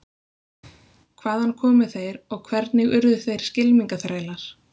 Hvaðan komu þeir og hvernig urðu þeir skylmingaþrælar?